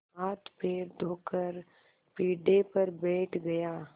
हाथपैर धोकर पीढ़े पर बैठ गया